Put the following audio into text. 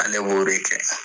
Ale b'o de kɛ